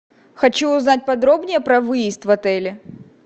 хочу узнать подробнее про выезд в отеле